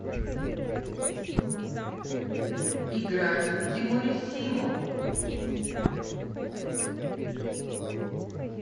играть в тимуриссимо